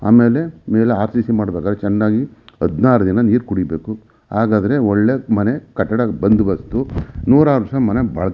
ಆಮೇಲೆ ಆಫೀಸ್ ಮಾಡಿದಂಗೆ ಚೆನ್ನಾಗಿ ಹದಿನಾರು ದಿನ ನೀರು ಕುಡಿಯಬೇಕು ಹಾಗ್ ಆದ್ರೆ ಒಳ್ಳೆ ಮನೆ ಕಟ್ಟಡ ಬಂದ್ ಬರ್ತು ನೂರಾರ್ ದಿನ ಮನೆ ಬಾಲ್ --